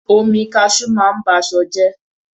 Omi Cashew a máa ba ṣọ jẹ́.